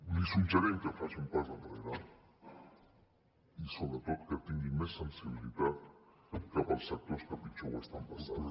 li suggerim que faci un pas enrere i sobretot que tingui més sensibilitat cap als sectors que pitjor ho estan passant